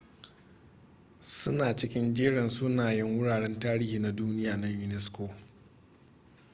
su na cikin jerin sunayen wuraren tarihi na duniya na unesco